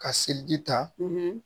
Ka selidi ta